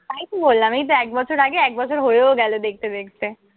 তাইতো বললাম, এইতো এক বছর আগে এক বছর হয়েও গেলো দেখতে দেখতে।